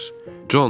Con, geri döndər.